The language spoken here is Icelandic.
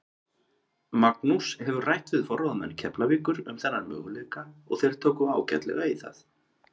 Magnús hefur rætt við forráðamenn Keflavíkur um þennan möguleika og þeir tóku ágætlega í það.